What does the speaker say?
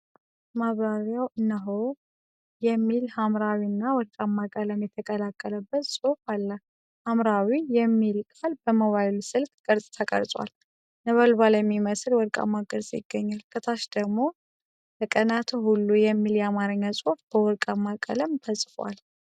ማብራሪያው እነሆ: CBE Birr የሚል ሐምራዊ እና ወርቃማ ቀለም የተቀላቀለበት ጽሑፍ አለ። ሐምራዊው "Birr" የሚለው ቃል በሞባይል ስልክ ቅርፅ ተቀርጿል፤ ነበልባል የሚመስል ወርቃማ ቅርፅ ይገኛል። ከታች ደግሞ “በቀናትህ ሁሉ!” የሚል የአማርኛ ጽሑፍ በወርቃማ ቀለም ተጽፏል።